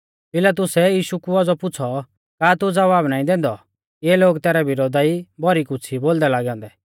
पिलातुसै यीशु कु औज़ौ पुछ़ौ का तू ज़वाब नाईं दैंदौ इऐ लोग तैरै विरोधा ई भौरी कुछ़ ई बोलदै लागै औन्दै